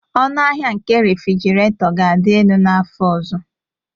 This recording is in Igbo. Ọnụahịa nke refrjiraeto ga-adị elu n'afọ ọzọ